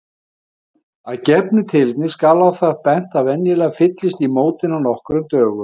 Af gefnu tilefni skal á það bent að venjulega fyllist í mótin á nokkrum dögum.